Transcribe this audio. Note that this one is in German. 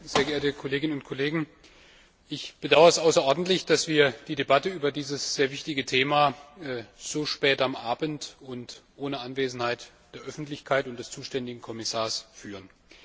Herr Präsident, sehr geehrte Kolleginnen und Kollegen! Ich bedauere außerordentlich, dass wir die Debatte über dieses sehr wichtige Thema so spät am Abend und ohne Anwesenheit der Öffentlichkeit und des zuständigen Kommissars führen.